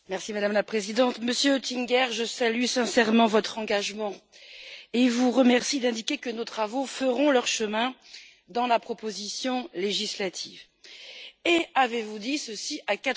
Madame la Présidente, Monsieur Oettinger, je salue sincèrement votre engagement et vous remercie d'indiquer que nos travaux feront leur chemin dans la proposition législative et avez vous dit ceci à